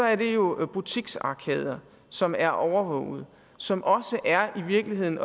er det jo butiksarkader som er overvåget og som i virkeligheden